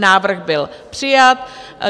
Návrh byl přijat.